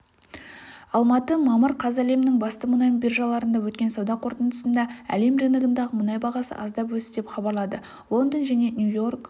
алматы мамыр қаз әлемнің басты мұнай биржаларында өткен сауда қортындысында әлем рыногындағы мұнай бағасы аздап өсті деп хабарлады лондон және нью-йорк